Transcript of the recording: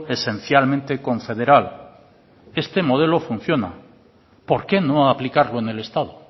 esencialmente confederal este modelo funciona por qué no aplicarlo en el estado